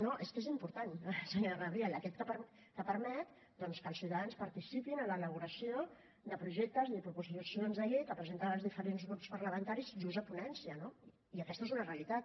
no és que és important senyora gabriel aquest que permet doncs que els ciutadans participin en l’elaboració de projectes i de proposicions de llei que presenten els diferents grups parlamentaris just a ponència no i aquesta és una realitat